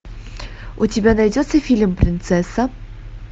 у тебя найдется фильм принцесса